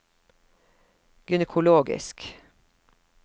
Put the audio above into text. gynekologisk